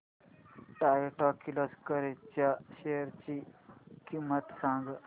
Toyota Kirloskar च्या shares ची किंमत सांग